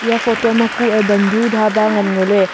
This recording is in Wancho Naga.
iya photo ma ku a bandhu dhaba ngan ngo ley.